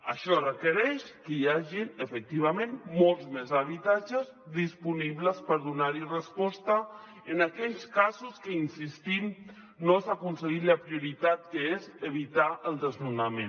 això requereix que hi hagin efectivament molts més habitatges disponibles per donar·hi resposta en aquells casos en què hi insistim no s’ha aconseguit la priori·tat que és evitar el desnonament